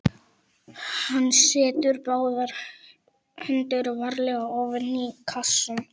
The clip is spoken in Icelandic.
Hann setur báðar hendur varlega ofan í kassann.